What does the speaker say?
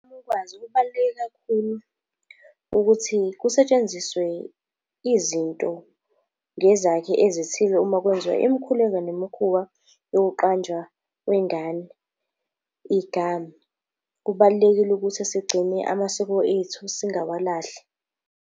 Kakhulukazi kubaluleke kakhulu ukuthi kusetshenziswe izinto ngezakhi ezithize uma kwenziwa imikhuleko nemikhuba yokuqanjwa kwengane igama. Kubalulekile ukuthi sigcine amasiko ethu singawalahli.